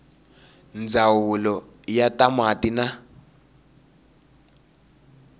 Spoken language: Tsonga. ndzawulo ya ta mati na